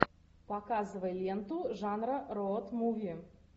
показывай ленту жанра роуд муви